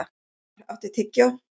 Rögnvar, áttu tyggjó?